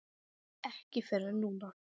Ekki fyrr en núna.